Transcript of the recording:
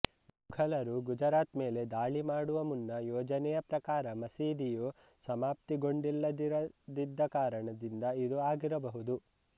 ಮುಘಲರು ಗುಜರಾತ್ ಮೇಲೆ ದಾಳಿ ಮಾಡುವ ಮುನ್ನ ಯೋಜನೆಯ ಪ್ರಕಾರ ಮಸೀದಿಯು ಸಮಾಪ್ತಿಗೊಂಡಿಲ್ಲದಿರದಿದ್ದ ಕಾರಣದಿಂದ ಇದು ಆಗಿರಬಹುದು